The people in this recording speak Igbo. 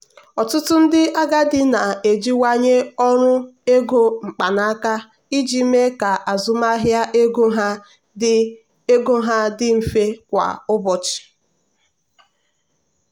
ọtụtụ ndị agadi na-ejiwanye ọrụ ego mkpanaka iji mee ka azụmahịa ego ha dị ego ha dị mfe kwa ụbọchị.